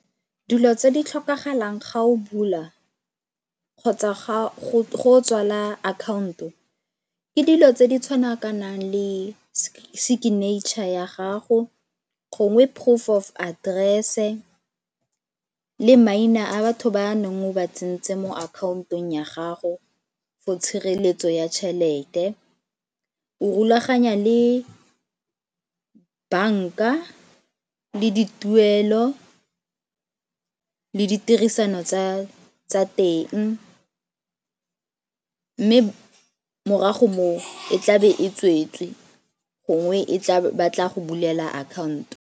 Dilo tse di tlhokagalang ga o bula kgotsa go tswala account-o ke dilo tse di tshwana ka nang le signature ya gago, gongwe proof of aterese le maina a batho ba neng o ba tsentse mo akhaontong ya gago for tshireletso ya tšhelete. O rulaganya le banka le di tuelo le ditirisano tsa tsa teng mme morago moo e tla be e tsweetswe gongwe ba tla go bulela akhaonto.